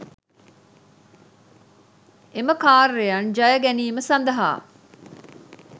එම කාර්යයන් ජය ගැනීම සඳහා